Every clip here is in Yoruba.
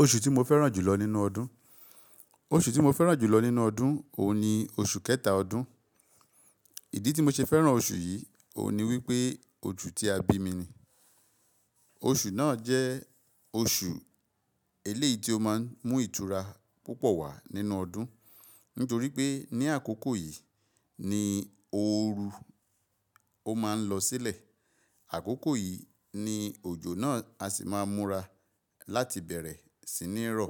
Oṣù tí mo fẹ́ràn jù lọ nínú ọdún, oṣù tí mo fẹ́ràn jù lọ nínú ọdún, òun ni oṣù kẹta ọdún. Ìdí tí mo ṣe fẹ́ràn oṣù yìí, òun ni wípé oṣù tí a bí mi ni. Oṣù náà jẹ́ oṣù eléyìí tí ó máa ń mú ìtura púpọ̀ wá nínú ọdún. Nítorí pé ní àkókò yìí ni ooru máa ń lọ sílẹ̀. Àkókò yìí ni òjò náà a sì máa múra láti bẹ̀rẹ̀ sí ní rọ.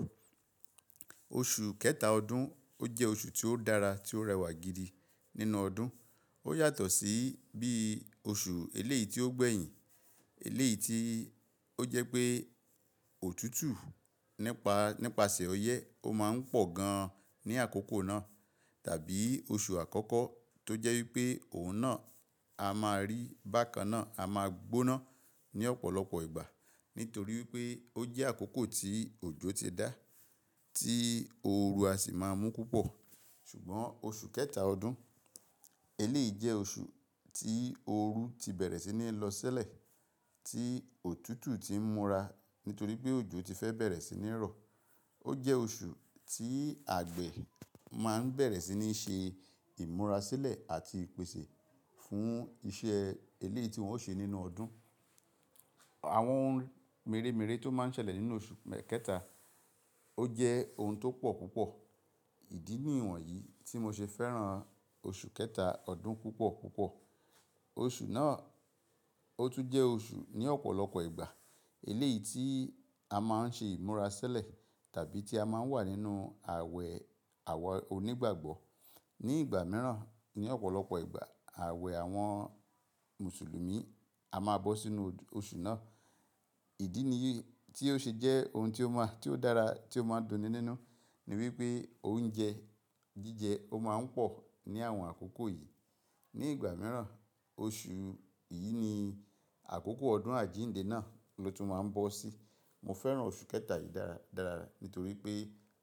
Oṣù kẹta ọdún ó jẹ́ oṣù tí ó dára, tí ó rẹwà gidi nínú ọdún. Ó yàtọ̀ sí bí oṣù eléyìí tí ó gbẹ̀yìn, eléyìí tí ó jẹ́ pé òtútù nípa, nípasẹ̀ ọyẹ́ ó máa ń pọ̀ gan-an ní àkókò náà, tàbí oṣù àkọ́kọ́ tó jẹ́ wípé òun náà a máa rí bákanná, a máa gbóná ní ọ̀pọ̀lọpọ̀ ìgbà. Nítorí wípé ó jẹ́ àkókò tí òjò ti dá, tí ooru a sì máa mú púpọ̀. Ṣùgbọ́n oṣù kẹta ọdún, eléyìí jẹ́ oṣù tí ooru ti bẹ̀rẹ̀ sí ní lọ sílẹ̀, tí òtútù ti ń múra nítorí pé òjò ti fẹ́ bẹ̀rẹ̀ sí ní rọ. Ó jẹ́ oṣù tí àgbẹ̀ máa ń bẹ̀rẹ̀ sí ní ṣe ìmúra sílẹ̀ àti pèsè fún iṣẹ́ eléyìí tí wọ́n ó ṣe nínú ọdún. Àwọn ohun mèremère tó máa ń ṣẹlẹ̀ nínú oṣù kẹta, ó jẹ́ ohun tó pọ̀ púpọ̀. Ìdí nì wonyìí tí mo ṣe fẹ́ràn oṣù kẹta ọdún púpọ̀ púpọ̀. Oṣù náà ó tún jẹ́ oṣù ní ọ̀pọ̀lọpọ̀ ìgbà eléyìí tí a máa ń ṣe ìmúra sílẹ̀ tàbí tí a máa ń wà nínú àwẹ̀ àwa onígbàgbọ́. Ní ìgbà mìíràn, ní ọ̀pọ̀lọpọ̀ ìgbà, àwẹ̀ àwọn Mùsùlùmí a máa bọ́ sínú oṣù náà. Ìdí nìyí tí ó ṣe jẹ́ ohun tí ó dára tí ó máa ń dunni nínú ni wípé oúnjẹ jíjẹ ó máa ń pọ̀ ní àwọn àkókò yìí. Ní ìgbà mìíràn oṣù yìí ni àkókò ọdún àjíǹde náà ló tún máa ń bọ́ sí. Mo fẹ́ràn oṣù kẹta yìí dára dára nítorí pé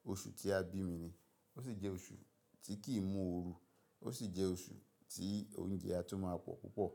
oṣù tí a bí mi ni. Ó sì jẹ́ oṣù tí kì í mú ooru. Ó sì jẹ́ oṣù tí oúnjẹ a tún máa pọ̀ púpọ̀.